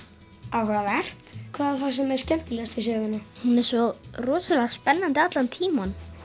áhugavert hvað fannst þér skemmtilegast við söguna hún er svo rosalega spennandi allan tímann